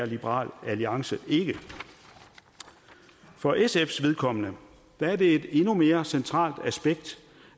liberal alliance ikke er for sfs vedkommende er det et endnu mere centralt aspekt